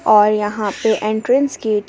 और यहां पे एंट्रेंस गेट --